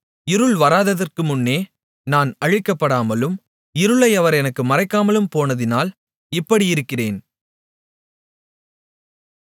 இருள் வராததற்கு முன்னே நான் அழிக்கப்படாமலும் இருளை அவர் எனக்கு மறைக்காமலும் போனதினால் இப்படியிருக்கிறேன்